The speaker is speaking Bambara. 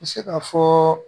N bɛ se ka fɔ